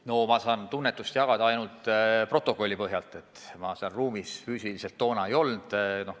Ma saan seda tunnetust kommenteerida ainult protokolli põhjal, sest ma seal ruumis tookord ei viibinud.